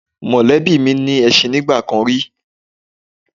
Mọ̀lẹ́bí mi ní ẹṣin nígbà kan rí